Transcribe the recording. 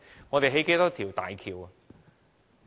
我們興建多少大橋？